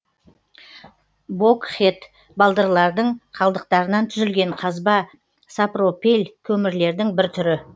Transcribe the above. богхед балдырлардың қалдықтарынан түзілген қазба сапропель көмірлердің бір түрі